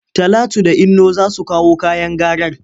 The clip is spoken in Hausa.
Talatu da Inno za su kawo kayan garar.